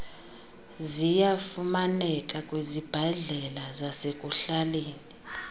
ziyafumaneka kwizibhedlele zasekuhlaleni